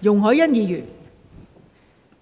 代理